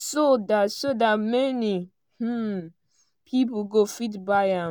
so dat so dat many um pipo go fit buy am.